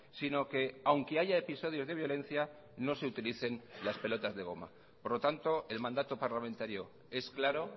sino que aunque haya episodios de violencia no se utilicen las pelotas de goma por lo tanto el mandato parlamentario es claro